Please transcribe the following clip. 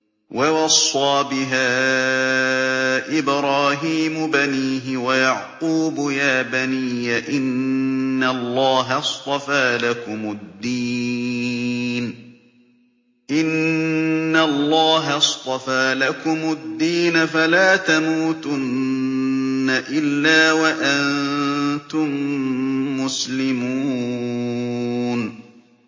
وَوَصَّىٰ بِهَا إِبْرَاهِيمُ بَنِيهِ وَيَعْقُوبُ يَا بَنِيَّ إِنَّ اللَّهَ اصْطَفَىٰ لَكُمُ الدِّينَ فَلَا تَمُوتُنَّ إِلَّا وَأَنتُم مُّسْلِمُونَ